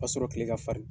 Ka sɔrɔ kile ka falen